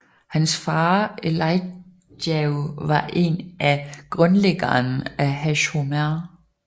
Hans far Eliyahu var en af grundlæggerne af Hashomer